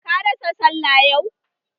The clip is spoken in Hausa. Ka rasa sallah yau?